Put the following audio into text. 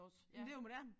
Men det jo moderne